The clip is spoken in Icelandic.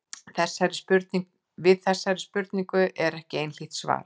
Þessari spurningu er ekki einhlítt að svara.